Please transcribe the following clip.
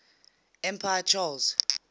emperor charles